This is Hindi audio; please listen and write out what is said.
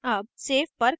अब save पर क्लिक करें